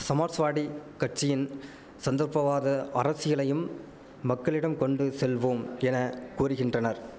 சமாஸ்வாடி கட்சியின் சந்தர்ப்பவாத அரசியலையும் மக்களிடம் கொண்டு செல்வோம் என கூறிகின்றனர்